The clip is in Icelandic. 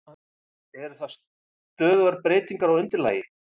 Eru það stöðugar breytingar á undirlagi?